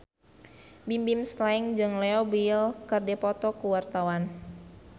Bimbim Slank jeung Leo Bill keur dipoto ku wartawan